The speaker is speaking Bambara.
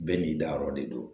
Bɛɛ n'i dayɔrɔ de don